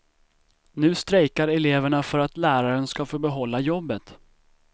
Nu strejkar eleverna för att läraren ska få behålla jobbet.